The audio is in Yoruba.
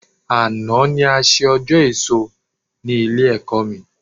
Àná ni a ṣe ọjọ́ èso ní Ilé-ẹ̀kọ́ mi